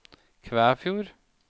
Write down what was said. Kvæfjord